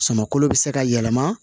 Suman kolo bɛ se ka yɛlɛma